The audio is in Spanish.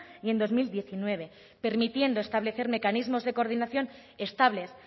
y en dos mil diecinueve permitiendo establecer mecanismos de coordinación estables